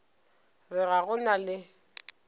re ga go na le